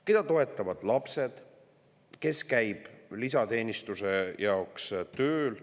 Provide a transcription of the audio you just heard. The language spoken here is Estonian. Keda toetavad lapsed, kes käib lisateenistuse jaoks tööl.